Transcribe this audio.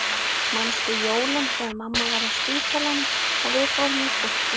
Manstu jólin þegar mamma var á spítalanum og við fórum í kirkju?